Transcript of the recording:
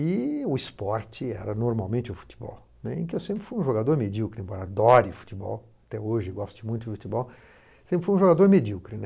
E o esporte era normalmente o futebol, né, em que eu sempre fui um jogador medíocre, embora adore futebol, até hoje eu goste muito de futebol, sempre fui um jogador medíocre.